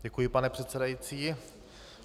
Děkuji, pane předsedající.